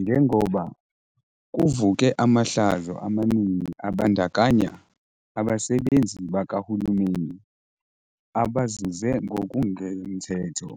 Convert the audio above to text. Njengoba kuvuke amahlazo amaningi abandakanya abasebenzi bakahulumeni abazuze ngokungemthetho,